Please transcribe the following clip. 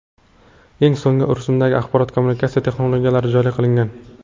Eng so‘nggi rusumdagi axborot-kommunikatsiya texnologiyalari joriy qilingan.